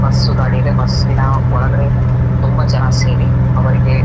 Bus ಗಾಡಿಯಿದೆ ಬಸ್ಸಿನ ನ ಒಳಗಡೆ ತುಂಬ ಜನ ಸೇರಿ ಅವರಿಗೆ.